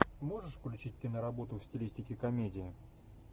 можешь включить киноработу в стилистике комедия